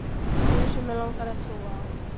guð sem mig langar að trúa á.